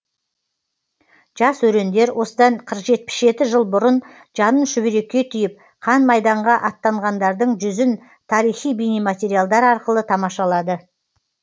жас өрендер осыдан жетпіс жеті жыл бұрын жанын шүберекке түйіп қан майданға аттанғандардың жүзін тарихи бейнематериалдар арқылы тамашалады